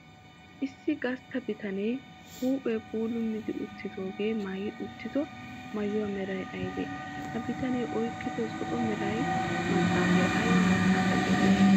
Issi gastta bitanee huuphee puulummi uttidoogee maayi uttido maayuwa meray aybee? Ha bitanee oyqqido zo"o mera maxaafay ayba maxaafaa geetettii?